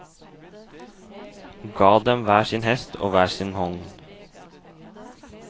Ga dem hver sin hest og hver sin vogn.